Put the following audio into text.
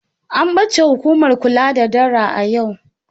An bace hukumar kula da dara a yau.